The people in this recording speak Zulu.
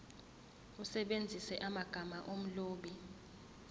usebenzise amagama omlobi